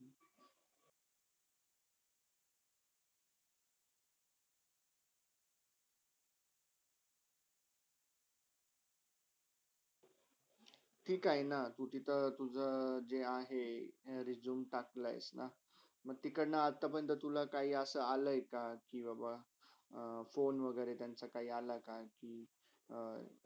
ठीक आहे ना तुझीतर तुझ्या जे आहे resume टाकला आहेस ना मी तिकडने आता पर्यंत तिथून तुला अलय का कि बा बा phone वागेरे त्यांचा काही आला की. अं